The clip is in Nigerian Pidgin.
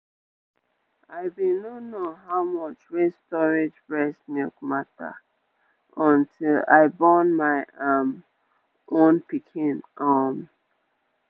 i been no know how much wey storage breast milk matter until i born my um own pikin um